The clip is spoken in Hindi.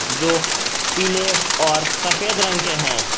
जो पीले और सफेद रंग के हैं।